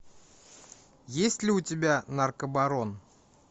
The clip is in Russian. есть ли у тебя наркобарон